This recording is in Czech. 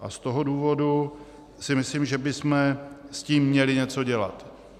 A z toho důvodu si myslím, že bychom s tím měli něco dělat.